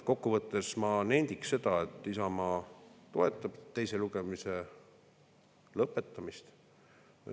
Kokkuvõttes ma nendiks seda, et Isamaa toetab teise lugemise lõpetamist.